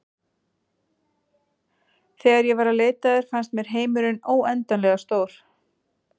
Þegar ég var að leita að þér fannst mér heimurinn óendanlega stór.